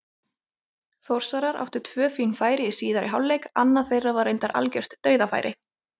Þórsarar áttu tvö fín færi í síðari hálfleik, annað þeirra var reyndar algjört dauðafæri.